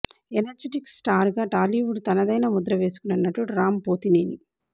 energetic star గా Tollywood తనదైన ముద్ర వేసుకున్న నటుడు రామ్ పోతినేని